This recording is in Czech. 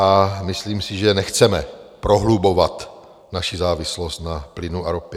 A myslím si, že nechceme prohlubovat naši závislost na plynu a ropě.